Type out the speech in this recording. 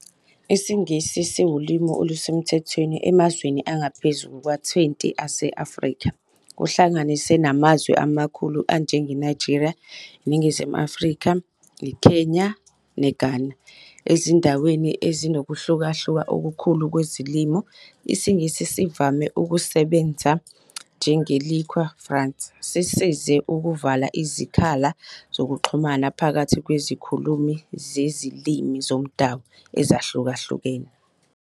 IsiNgisi siwulimi olusemthethweni emazweni angaphezu kuka-20 ase-Afrika, kuhlanganise namazwe amakhulu anjengeNigeria, iNingizimu Afrika, iKenya neGhana. Ezindaweni ezinokuhlukahluka okukhulu kwezilimi, isiNgisi sivame ukusebenza njenge-lingua franca, sisize ukuvala izikhala zokuxhumana phakathi kwezikhulumi zezilimi zomdabu ezahlukahlukene.